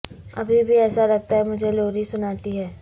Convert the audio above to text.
ابھی بھی ایسا لگتا ہے مجھے لوری سناتی ہے